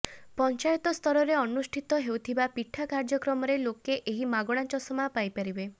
ପଞ୍ଚାୟତ ସ୍ତରରେ ଅନୁଷ୍ଠିତ ହେଉଥିବା ପିଠା କାର୍ଯ୍ୟକ୍ରମରେ ଲୋକେ ଏହି ମାଗଣା ଚଷମା ପାଇପାରିବେ